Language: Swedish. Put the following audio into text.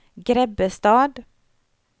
Grebbestad